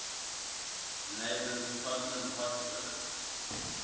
neighbours tottenham hotspur